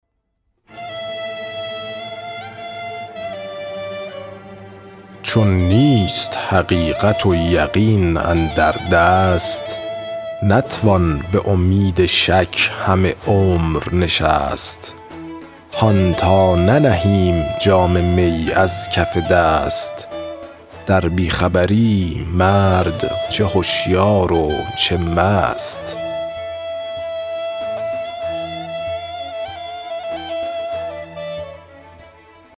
چون نیست حقیقت و یقین اندر دست نتوان به امید شک همه عمر نشست هان تا ننهیم جام می از کف دست در بی خبری مرد چه هشیار و چه مست